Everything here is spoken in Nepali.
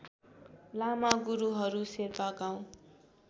लामा गुरूहरू शेर्पा गाउँ